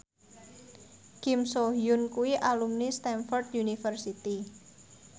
Kim So Hyun kuwi alumni Stamford University